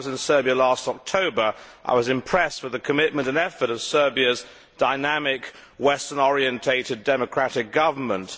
When I was in Serbia last October, I was impressed with the commitment and effort of Serbia's dynamic, western orientated democratic government.